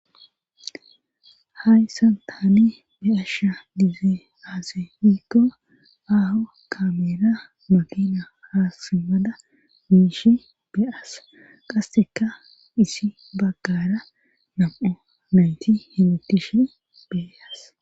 hayssan taani be asha dizee aase hiikko aaho kameera makina ha simmada miishi beas qasseka isi baggara nam7o naynti hemetishe bee-as